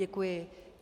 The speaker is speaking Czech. Děkuji.